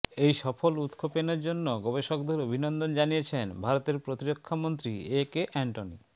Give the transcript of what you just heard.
এই সফল উৎক্ষেপনের জন্য গবেষকদের অভিনন্দন জানিয়েছেন ভারতের প্রতিরক্ষামন্ত্রী এ কে অ্যান্টনি